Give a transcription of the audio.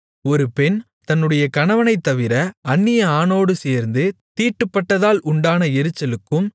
ஒரு பெண் தன்னுடைய கணவனைத்தவிர அந்நிய ஆணோடு சேர்ந்து தீட்டுப்பட்டதால் உண்டான எரிச்சலுக்கும்